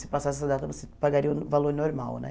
Se passasse essa data, você pagaria o valor normal né.